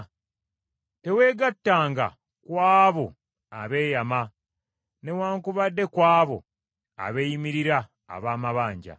Teweegattanga ku abo abeeyama, newaakubadde ku abo abeeyimirira ab’amabanja.